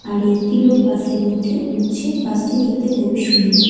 আর একটি লোক -এর মধ্যে উঠছে বাস -টি দেখতে খুবই সুন্দর।